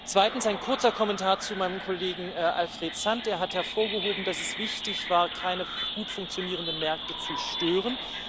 Zweitens ein kurzer Kommentar zu meinem Kollegen Alfred Sant Der hat hervorgehoben, dass es wichtig war, keine gut funktionierenden Märkte zu stören.